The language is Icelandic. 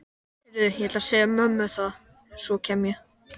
Heyrðu, ég ætla að segja mömmu það, svo kem ég.